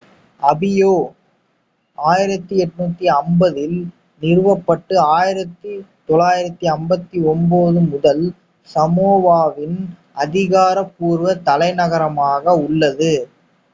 அபியா 1850-ல் நிறுவப்பட்டு 1959 முதல் சமோவாவின் அதிகாரப்பூர்வ தலைநகரமாக உள்ளது